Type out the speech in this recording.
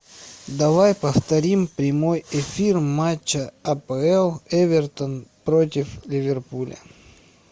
давай повторим прямой эфир матча апл эвертон против ливерпуля